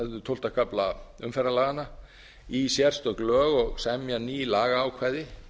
tólfta kafla umferðarlaganna í sérstök lög og semja ný lagaákvæði